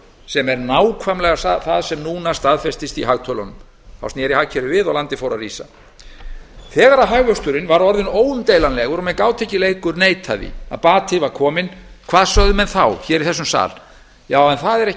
sem er nákvæmlega það sem núna staðfestist í hagtölunum þá sneri hagkerfið við og landið fór að rísa þegar hagvöxturinn var orðinn óumdeilanlegur og menn gátu ekki lengur neitað því að bati var kominn hvað sögðu menn þá hér í þessum sal já en það er ekki